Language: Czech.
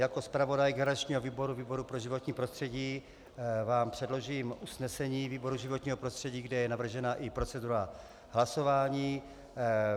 Jako zpravodaj garančního výboru, výboru pro životní prostředí, vám předložím usnesení výboru životního prostředí, kde je navržena i procedura hlasování.